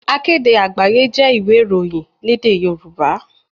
Akéde Àgbáyé jẹ́ ìwé ìròyìn lédè Yorùbá.